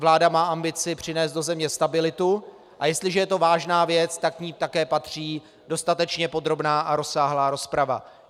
Vláda má ambici přinést do země stabilitu, a jestliže je to vážná věc, tak k ní také patří dostatečně podrobná a rozsáhlá rozprava.